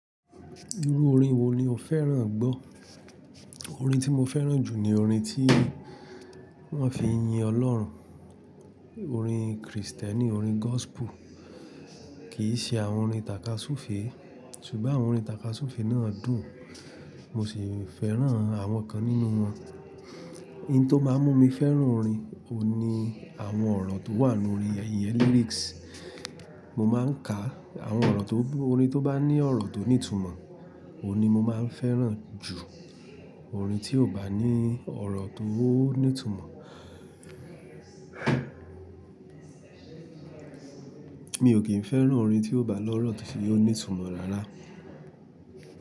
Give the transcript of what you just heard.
Irú orin wo ni o fẹ́ràn gbọ́? Orin tí mo fẹ́ràn jù ni orin tí wọ́n fi yin Ọlọ́run. Orin Kristẹni, orin gospel. Kì í ṣe àwọn orin tàkasúfèé. Ṣùgbọ́n àwọn orin tàkasúfèé náà dùn, mo sì fẹ́ràn àwọn kan nínú wọn. Ohun tó máa ń mú mi fẹ́ràn orin ni àwọn ọ̀rọ̀ tó wà nínú orin, ìyẹn lyrics. Mo máa ń ka àwọn ọ̀rọ̀ tó, orin tó bá ní ọ̀rọ̀ tó ní ìtumọ̀, òun ni mo máa ń fẹ́ràn jù orin tí ò bá ní ọ̀rọ̀ tó ní ìtumọ̀. Mi ò kí ń fẹ́ràn orin tí kò bá l'ọ̀rọ̀ tí ò ní ìtumọ̀ rárá.